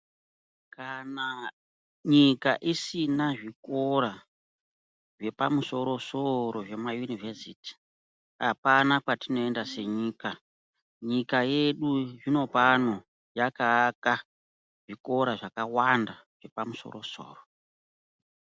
Kana nyika isina zvikora zvepamusoro soro zvemaunivhesiti apana kwatinoenda senyika nyika tedu zvinopano yakaaka zvikora zvakawanda zvepamusoro soro.